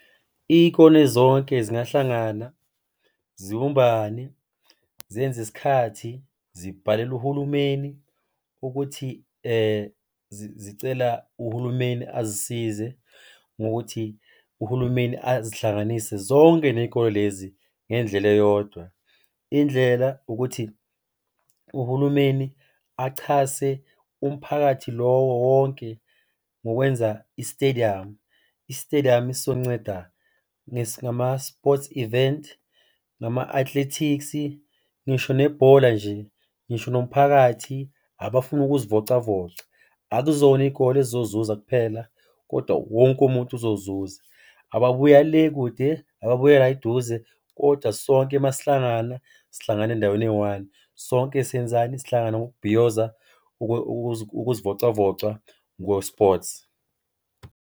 Iy'kole zonke zingahlangana zibumbane zenze isikhathi zibhalele uhulumeni ukuthi zicela uhulumeni azisize ngokuthi uhulumeni azihlanganise zonke ney'kole lezi ngendlela eyodwa. Indlela ukuthi uhulumeni achase umphakathi lowo wonke ngokwenza isitediyamu. Isitediyamu sizonceda ngama-sports event, ngama-athletics, ngisho nebhola nje, ngisho nomphakathi, abafuna ukuzivocavoca. Akuzona iy'kole ezizozuza kuphela kodwa wonke umuntu uzozuza. Ababuya le kude, ababuya la eduze kodwa sonke masihlangana sihlangana endaweni eyi-one. Sonke siyenzani? Sihlangana ngokubhiyoza, ukuzivocavoca ngo-sports.